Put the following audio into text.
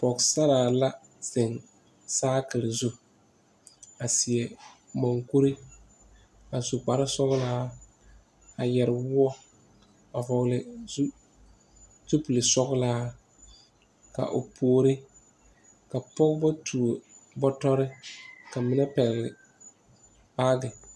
Pɔgesaraa la zeŋ saakire zu a seɛ mukuri a su kparesɔglaa a yɛre woɔ a vɔgle zu zupile sɔglaa ka o puori ka pɔgeba tuo batɔre ka mine pɛgle baagi.